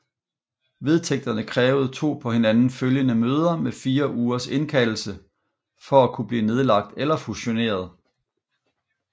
Vedtægterne krævede to på hinanden følgende møder med 4 ugers indkaldelse for at kunne blive nedlagt eller fusioneret